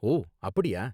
ஓ, அப்படியா